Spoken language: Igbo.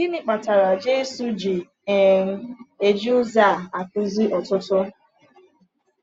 Gịnị kpatara Jésù ji um eji ụzọ a akụzi ọtụtụ?